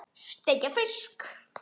Steikja fisk?